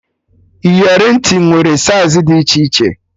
Iyeri ntị nwere saiz dị iche iche